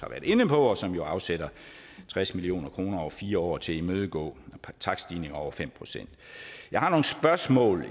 inde på og som jo afsætter tres million kroner over fire år til at imødegå takststigninger over fem procent jeg har nogle spørgsmål